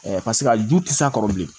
paseke a ju tɛ s'a kɔrɔ bilen